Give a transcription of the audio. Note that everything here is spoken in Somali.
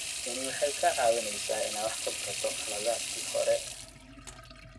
Tani waxay kaa caawinaysaa inaad wax ka barato khaladaadkii hore.